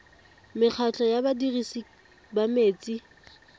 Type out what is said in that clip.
mekgatlho ya badirisi ba metsi